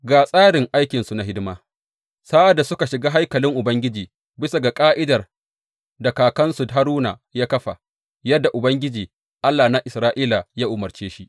Ga tsarin aikinsu na hidima sa’ad da suka shiga haikalin Ubangiji, bisa ga ƙa’idar da kakansu Haruna ya kafa, yadda Ubangiji, Allah na Isra’ila ya umarce shi.